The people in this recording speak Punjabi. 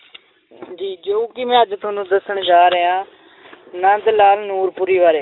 ਜੀ ਜੋ ਕਿ ਮੈਂ ਅੱਜ ਤੁਹਾਨੂੰ ਦੱਸਣ ਜਾ ਰਿਹਾਂ ਨੰਦ ਲਾਲ ਨੂਰਪੁਰੀ ਬਾਰੇ।